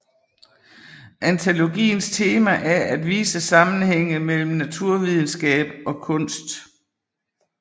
Antologiens tema er at vise sammenhænge mellem naturvidenskab og kunst